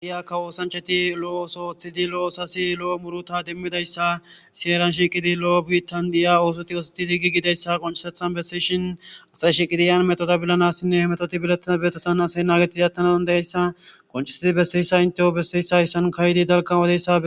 Tophphiya osanichchati loo ooththo ooththidi lo muruta demidayisa siyana shiqiddi loo bitani diya osoti osetidi gigidayisa besishini asayi heni shiqiddi metota polanasin e metota nagidi atanasi besizayisa qonicisidi besizayisa besesi